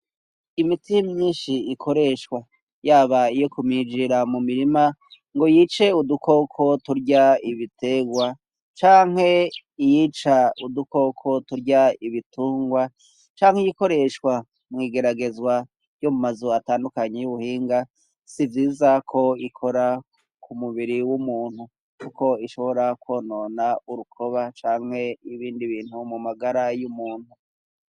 Imiti myinshi ikoreshwa yaba iyo kumijirira mu mirima ngo yice udukoko turya ibiterwa, canke iyica udukoko turya ibitungwa, canke iyikoreshwa mwigeragezwa yo mu mazu atandukanye y'ubuhinga, sivyiza ko ikora ku mu biri w'umuntu kuko ishobora kwonona urukoba canke ibindi bintu mu magara y'umuntu.